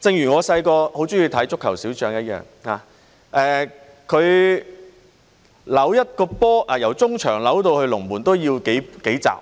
正如我小時候很喜歡看的《足球小將》一樣，他"扭"一個波，由中場"扭"到龍門都要數集的時間，